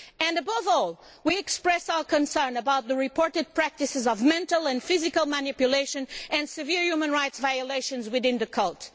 Above all, we express our concern about the reported practices of mental and physical manipulation and severe human rights violations within the cult.